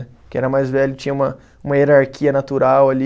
Porque era mais velho, tinha uma uma hierarquia natural ali.